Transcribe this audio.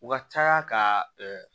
U ka ca ka ɛɛ